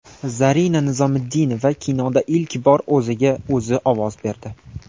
Zarina Nizomiddinova kinoda ilk bor o‘ziga o‘zi ovoz berdi.